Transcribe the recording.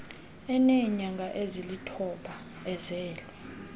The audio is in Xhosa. eneenyanga ezilithoba ezelwe